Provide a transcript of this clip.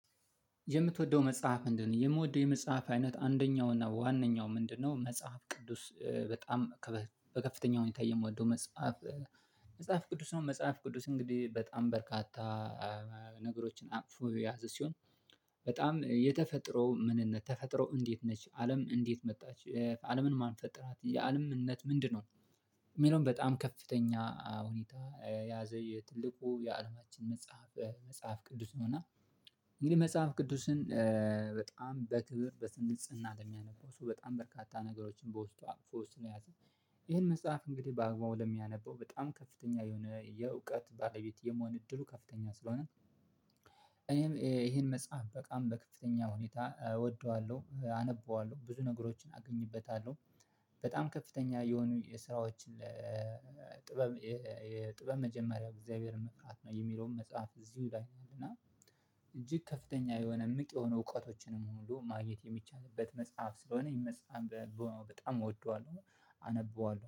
የምትወደው መጽሐፍ ምንድነው? የምወደው የመጽሐፍ አይነት አንደኛው እና ዋናው ምንድነው? መጽሐፍ ቅዱስ በጣም በከፍተኛው ሁኔታ የምደው መጽሐፍ መጽሐፍ ቅዱስ ነው። መጽሐፍ ቅዱስ እንግዲ በጣም በርካታ ነገሮችን አቅፎ ያዘ ሲሆን። በጣም የተፈጥሮ ምንነት ተፈጥሮ እንዴት ነች አለም እንዴት መጣች አለምን ማን ፈጠራት የአለምነት ምንድነው? የሚለውን በጣም ከፍተኛ ሁኔታ ያዘ የትልቁ የአለማችን መጽሐፍ መጽሐፍ ቅዱስ ነውና። እንግዲህ መጽሐፍ ቅዱስን በጣም በክብር በንጽህና በሚያነበው ሰው በጣም በርካታ ነገሮችን በውስጡ ኣቅፎስ ስንያዝ። ይሄን መጽሐፍ እንግዲህ በአግባቡ ለሚያነበው በጣም ከፍተኛ የሆነ የእውቀት ባለቤት የመሆን እድሉ ከፍተኛ ስለሆነ። እኔም ይሄን መጽሐፍ በቃም በከፍተኛ ሁኔታ እወደዋለሁ አነበዋለሁ ብዙ ነገሮችን አገኝበታለሁ። በጣም ከፍተኛ የሆኑ የስራዎችን ለ ጥበብ የጥበብ መጀመሪያ እግዚአብሔርን መፍራት ነው የሚለውን መጽሐፍ እዚሁ ይላኛል እና። እጅግ ከፍተኛ የሆነ ምቅ የሆነ እውቀቶችንም ሁሉ ማግኘት የሚቻልበት መጽሐፍ ስለሆነ ይመስማም በጣም እወደዋለሁ። አነበዋለሁ